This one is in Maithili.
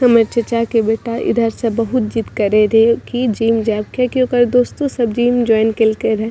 हमर चाचा के बेटा इधर से बहुत जिद करे रहे की जिम जाइब कियाकी ओकर दोस्तों सब जिम जॉइन केल के रहे।